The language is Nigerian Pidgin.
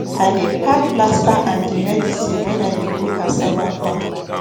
i dey pack plaster and medicine when i dey go cassava farm